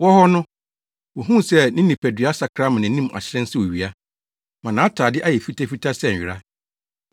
Wɔwɔ hɔ no, wohuu sɛ ne nipadua asakra ama nʼanim ahyerɛn sɛ owia, ma nʼatade ayɛ fitafita sɛ nwera.